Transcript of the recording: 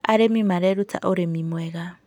arĩmi mareruta ũrĩmi ũrĩmi mwega